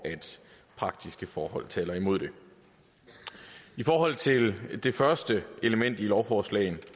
praktiske forhold taler imod det i forhold til det første element i lovforslaget